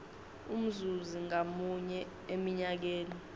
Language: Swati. umzuzi ngamunye eminyakeni